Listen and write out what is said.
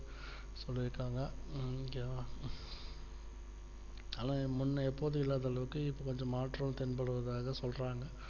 சொல்லி இருக்காங்க okay வா ஆனா இப்பொண்ண எப்போதுமே இல்லாத அளவிற்கு இப்போ கொஞ்சம் மாற்றம் தென்படுவதாக சொல்றாங்க